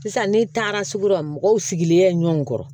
Sisan ne taara sugu la mɔgɔw sigilen bɛ ɲɔn kɔrɔ